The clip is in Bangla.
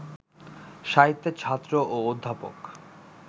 সাহিত্যের ছাত্র ও অধ্যাপক